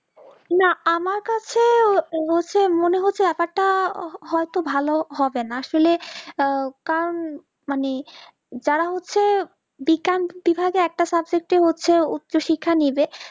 না আমার কাছে হচ্ছে মনে হচ্ছে কথাটা হয়তো ভালো হবে আসলে না লকারণ হচ্ছে যারা হচ্ছে বিকান্ত বিভাগের একটা subject এর হচ্ছে একটা উচ্চ শিক্ষা নিজে